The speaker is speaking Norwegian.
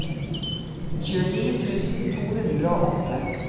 tjueni tusen to hundre og åtte